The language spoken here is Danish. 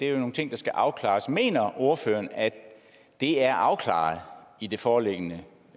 er nogle ting der skal afklares mener ordføreren at det er afklaret i det foreliggende